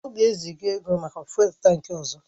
Ọ ga-eziga ego maka fụ́élú tankị ọzọ.